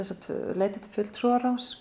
leita til fulltrúaráðs